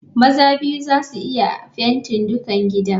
Maza biyu za su iya fenti dukan gidan.